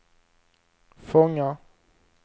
fångar